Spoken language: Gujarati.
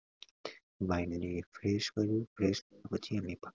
mind ને fresh કર્યું fresh કરી ને પછી